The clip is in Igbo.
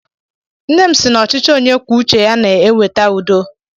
Nne m si na ọchịchi onye kwuo uche ya na-eweta udo.